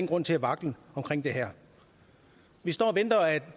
grund til vaklen omkring det her vi står og venter